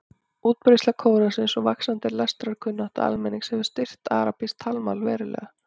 Útbreiðsla Kóransins og vaxandi lestrarkunnátta almennings hefur styrkt arabískt talmál verulega.